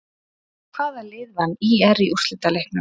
Hvaða lið vann ÍR í úrslitaleiknum?